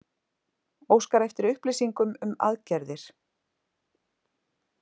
Óskar eftir upplýsingum um aðgerðir